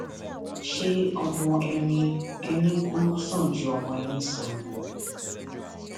ṣé ọmọ ẹni ẹni kù sàn ju ọmọ ẹni sọnù lọ